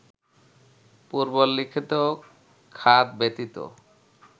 পূর্বল্লেখিত খাত ব্যতিত